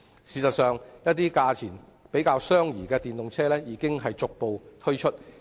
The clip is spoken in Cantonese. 事實上，價錢較相宜的電動車已逐步推出。